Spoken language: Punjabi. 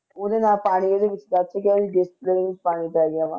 ਉਹਦੇ ਨਾਲ ਪਾਣੀ ਵੀ ਉਹਦੀ display ਵਿੱਚ ਪਾਣੀ ਪੈ ਗਿਆ ਵਾ